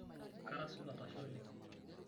Kara supat, ashe oleng'.